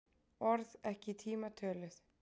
Orð ekki í tíma töluð